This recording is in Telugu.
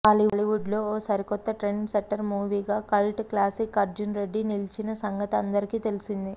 టాలీవుడ్లో ఓ సరికొత్త ట్రెండ్ సెట్టర్ మూవీగా కల్ట్ క్లాసిక్ అర్జున్ రెడ్డి నిలిచిన సంగతి అందరికీ తెలిసిందే